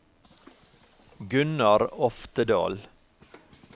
Gunnar Oftedal